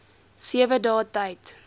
sewe dae tyd